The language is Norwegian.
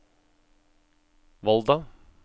Volda